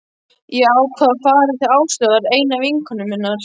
Ég ákvað að fara til Áslaugar, einu vinkonu minnar.